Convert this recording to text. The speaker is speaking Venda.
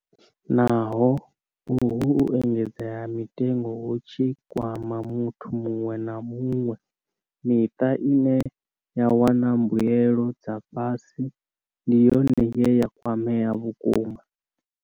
Naho uhu u engedzea ha mitengo hu tshi kwama muthu muṅwe na muṅwe, miṱa ine ya wana mbuelo dza fhasi ndi yone ye ya kwamea vhukuma.